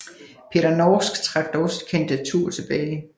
Peter Norsk trak dog sit kandidatur tilbage